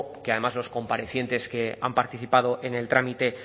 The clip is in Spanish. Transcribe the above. que además los comparecientes que han participado en el trámite